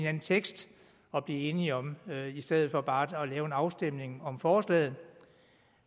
anden tekst at blive enige om i stedet for bare at lave en afstemning om forslaget